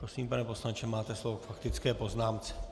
Prosím, pane poslanče, máte slovo k faktické poznámce.